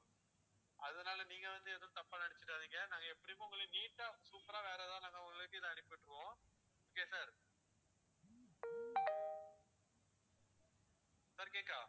அதனால நீங்க வந்து எதுவும் தப்பா நினைச்சுடாதீங்க நாங்க எப்படியும் உங்களுக்கு neat ஆ super ஆ வேற எதாவது ஒரு அனுப்பிவிட்டுருவோம் okay யா sir sir கேக்கா